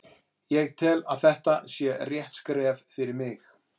Ég tel að þetta sé rétt skref fyrir mig.